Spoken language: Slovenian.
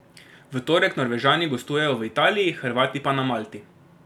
V torek Norvežani gostujejo v Italiji, Hrvati pa na Malti.